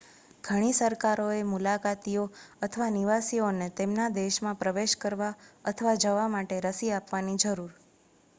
ઘણી સરકારોએ મુલાકાતીઓ અથવા નિવાસીઓને તેમના દેશમાં પ્રવેશ કરવા અથવા જવા માટે રસી આપવાની જરૂર